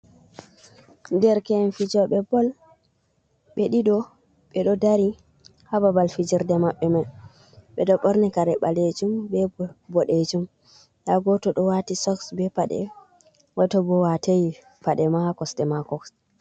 Derke'en fijoɓe Bol.ɓe ɗiɗo ɓe ɗo dari ha Ɓabal fijerde Mabbe mai.ɓe ɗo ɓorni kare Ɓalejum be bo boɗejum. Nda goto ɗo wati Soks be Paɗe, goto bo watei Paɗema ha Kosɗe mako.